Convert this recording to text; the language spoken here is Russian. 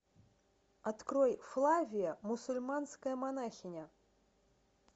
открой флавия мусульманская монахиня